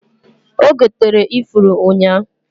Ogotere ifuru ụnya.